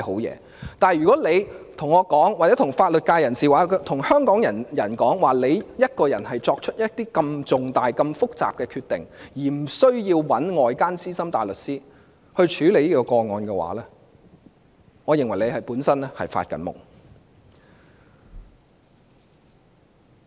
然而，如果她對我或法律界人士或香港人說，她可以獨自作出如此重大、複雜的決定，不需要委託外間資深大律師處理這宗個案的話，我認為她本身是在做夢。